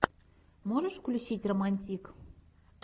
можешь включить романтик